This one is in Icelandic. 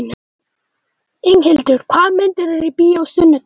Inghildur, hvaða myndir eru í bíó á sunnudaginn?